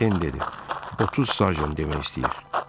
Den dedi: 30 sajın demək istəyir.